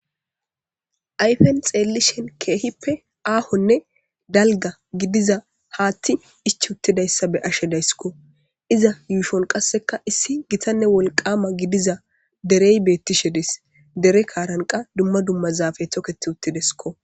ayfen xeellishen keehippe aahonne dalga gidiza haathti ich uttidayssa beashe dayssikko iza yuushon qasseka issi gitanne wolqama gidiza derey beettishe des dere kaaranqa dumma dumma zaafe toketi uttidesko